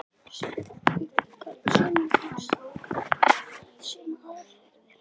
Sömu spurningar, sömu ásakanir, sömu aðferðir.